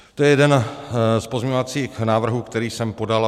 To je jeden z pozměňovacích návrhů, který jsem podal.